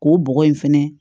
K'o bɔgɔ in fɛnɛ